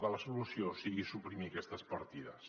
que la solució sigui suprimir aquestes partides